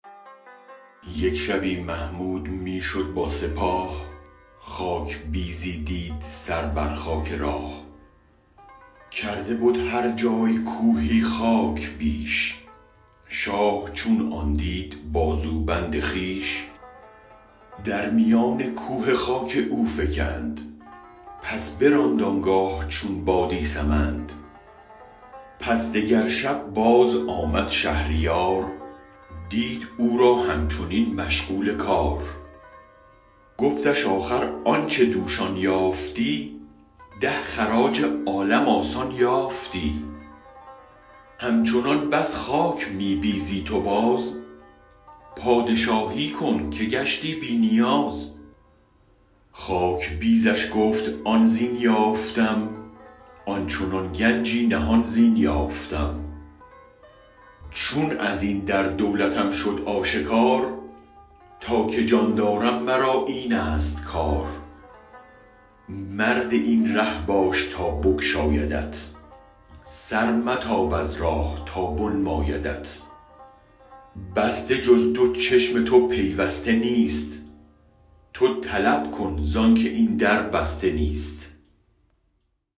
یک شبی محمود می شد بی سپاه خاک بیزی دید سر بر خاک راه کرده بد هر جای کوهی خاک بیش شاه چون آن دید بازو بند خویش در میان کوه خاک او فکند پس براند آنگاه چون بادی سمند پس دگر شب باز آمد شهریار دید او را همچنین مشغول کار گفتش آخر آنچ دوش آن یافتی ده خراج عالم آسان یافتی همچنان بس خاک می بیزی تو باز پادشاهی کن که گشتی بی نیاز خاک بیزش گفت آن زین یافتم آن چنان گنجی نهان زین یافتم چون ازین در دولتم شد آشکار تا که جان دارم مرا اینست کار مرد این ره باش تا بگشایدت سر متاب از راه تا بنمایدت بسته جز دو چشم تو پیوسته نیست تو طلب کن زانک این در بسته نیست